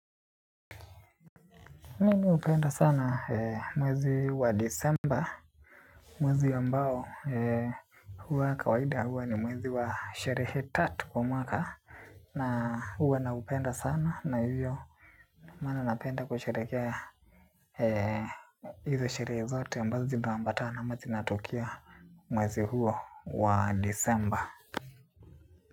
Mimi hupenda sana mwezi wa december. Mwezi ambao huwa kawaida huwa ni mwezi wa sharehe tatu kwa mwaka. Na huwa naupenda sana na hivyo. Maana napenda kusharehekea hizo sharehe zote ambazo zitaambata ama zinatokea mwezi huo wa decemba.